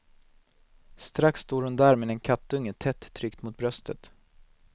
Strax står hon där med en kattunge tätt tryckt mot bröstet.